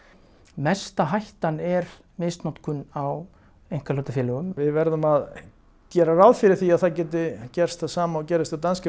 mesta hættan er misnotkun á einkahlutafélögum við verðum að gera ráð fyrir því að gæti gerst það sama og gerðist hjá